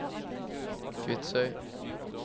Kvitsøy